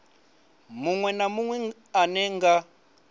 munwe na munwe ane nga